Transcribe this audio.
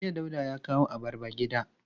Jiya Dauda ya kawo abarba gida.